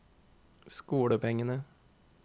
skolepengene